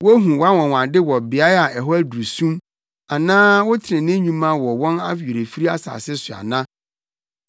Wohu wʼanwonwade wɔ beae a hɔ aduru sum, anaa wo trenee nnwuma no wɔ awerɛfiri asase so ana?